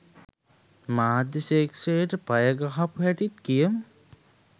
මාධ්‍ය ක්‍ෂේත්‍රයට පය ගහපු හැටිත් කියමු.